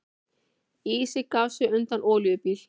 Ísinn gaf sig undan olíubíl